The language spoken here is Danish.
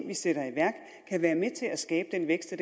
vi sætter i værk kan være med til at skabe den vækst